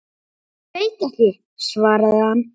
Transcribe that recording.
Ég veit ekki, svaraði hann.